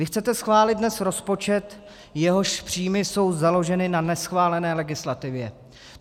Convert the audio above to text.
Vy chcete schválit dnes rozpočet, jehož příjmy jsou založeny na neschválené legislativě.